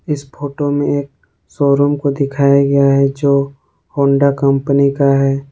इस फोटो में एक शोरूम को दिखाया गया है जो होंडा कंपनी का है।